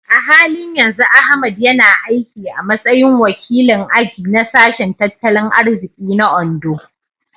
A halin yanzu Ahmad yana aiki a matsayin wakilin aji na Sashen Tattalin Arziki na Ondo.